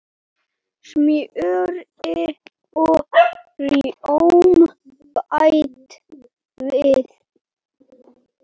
Smjöri og rjóma bætt við.